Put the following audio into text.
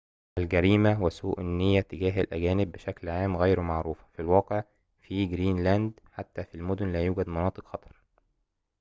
الجريمة وسوء النية تجاه الأجانب بشكل عام غير معروفة في الواقع في جرينلاند حتى في المدن لا يوجد مناطق خطر